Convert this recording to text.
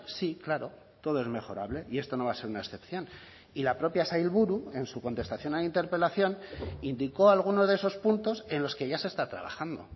sí claro todo es mejorable y esto no va a ser una excepción y la propia sailburu en su contestación a la interpelación indicó alguno de esos puntos en los que ya se está trabajando